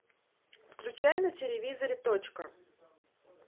включай на телевизоре точка